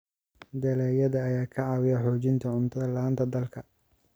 dalagyada ayaa ka caawiya xoojinta cunto la'aanta dalka.